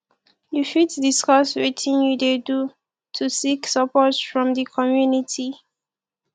you fit discuss wetin you dey do to seek support from di community